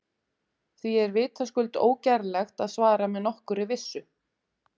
Því er vitaskuld ógerlegt að svara með nokkurri vissu.